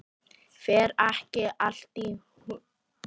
Fer ekki allt í hnút?